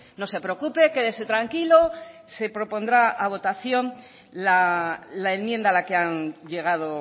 no se preocupe quédese tranquilo se propondrá a votación la enmienda a la que han llegado